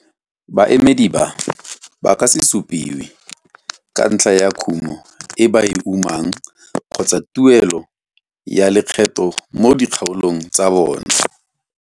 Baemedi ba ba ka se supiwe ka ntlha ya bokana ba kumo e ba e umang kgotsa tuelo ya lekgetho mo dikgaolong tsa bona.